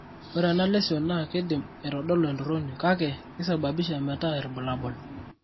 ore ena lesion naa keidim aitodolu entoroni, kake keisababisha meetai irbulabol.